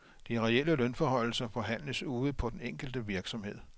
De reelle lønforhøjelser forhandles ude på den enkelte virksomhed.